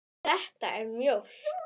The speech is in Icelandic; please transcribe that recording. Þetta er mjólk.